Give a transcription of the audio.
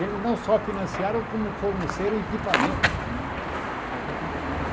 Eles não só financiaram, como forneceram equipamentos também para Volta Redonda.